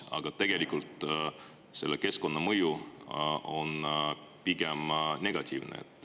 Aga tegelikult selle keskkonnamõju on pigem negatiivne.